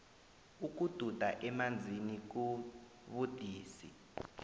ukududa emanzini kubudisi